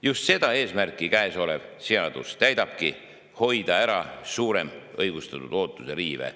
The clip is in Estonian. Just seda eesmärki käesolev seadus täidabki: hoida ettevõtetele ära suurem õigustatud ootuse riive.